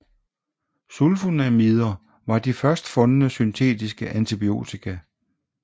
Sulfonamider var de først fundne syntetiske antibiotika